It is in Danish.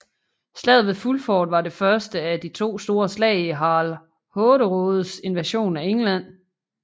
Slaget ved Fulford var det første af de to store slag i Harald Hårderådes invasion af England